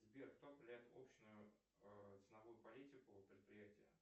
сбер кто определяет общную ценовую политику предприятия